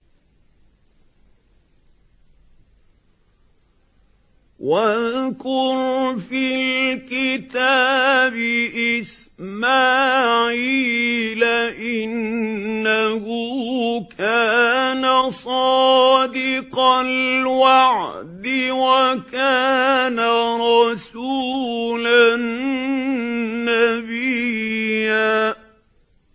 وَاذْكُرْ فِي الْكِتَابِ إِسْمَاعِيلَ ۚ إِنَّهُ كَانَ صَادِقَ الْوَعْدِ وَكَانَ رَسُولًا نَّبِيًّا